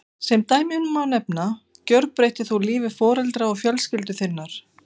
Sem dæmi má nefna þá gjörbreyttir þú lífi foreldra og fjölskyldu þinnar.